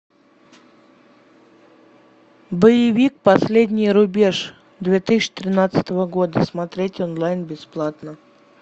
боевик последний рубеж две тысячи тринадцатого года смотреть онлайн бесплатно